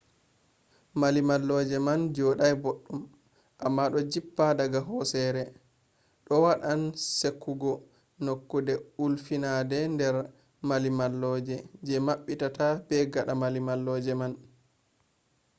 mallimalloje man jodai boddum amma do jippa daga hosere. do wadan sekugo nokkude ulfitide nder mallimalloje je mabbata be gada mallimalloje man